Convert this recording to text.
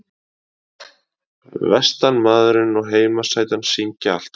Vestanmaðurinn og heimasætan syngja alltaf.